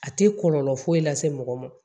A tɛ kɔlɔlɔ foyi lase mɔgɔ ma